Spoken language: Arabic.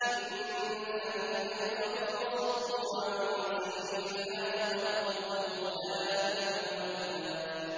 إِنَّ الَّذِينَ كَفَرُوا وَصَدُّوا عَن سَبِيلِ اللَّهِ قَدْ ضَلُّوا ضَلَالًا بَعِيدًا